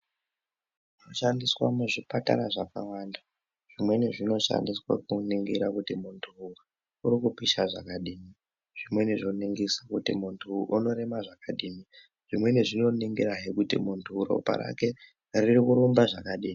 Zvinoshandiswa muzvipatara zvakawanda. Zvimweni zvinoshandiswa kuningira kuti muntu uyu uri kupisha zvakadini. Zvimweni zvoningise kuti muntu uwu unorema zvakadii. Zvimweni zvinoningirahe kuti muntu uyu ropa rake riri kurumba zvakadini.